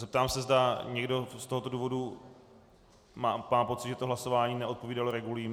Zeptám se, zda někdo z tohoto důvodu má pocit, že to hlasování neodpovídalo regulím.